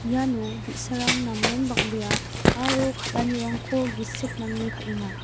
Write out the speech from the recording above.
iano bi·sarang namen bang·bea aro kal·anirangko gisik nange kal·enga.